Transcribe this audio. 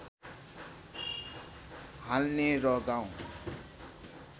हाल्ने र गाउँ